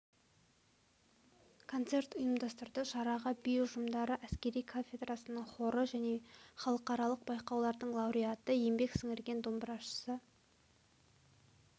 концерт ұйымдастырды шараға би ұжымдары әскери кафедрасының хоры және халықаралық байқаулардың лауреаты еңбек сіңірген домбырашысы